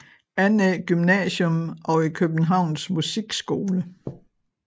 Annæ Gymnasium og i Københavns Musikskole